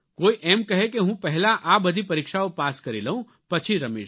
કોઇ એમ કહે કે હું પહેલા આ બધી પરીક્ષાઓ પાસ કરી લઉં પછી રમીશ